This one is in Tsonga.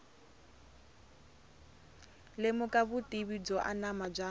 lemuka vutivi byo anama bya